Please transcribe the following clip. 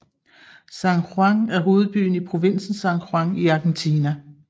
San Juan er hovedbyen i provinsen San Juan i Argentina